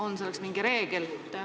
On selle kohta mingi reegel?